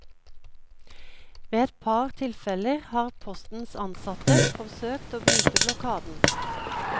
Ved et par tilfeller har postens ansatte forsøkt å bryte blokaden.